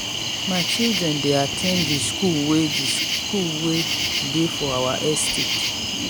my children dey at ten d the school wey the school wey dey for our estate